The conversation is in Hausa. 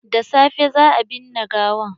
Da safe za a binne gawan.